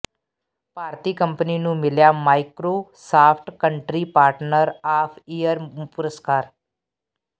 ਭਾਰਤੀ company ਨੂੰ ਮਿਲਿਆ Microsoft country partner of year ਪੁਰਸਕਾਰ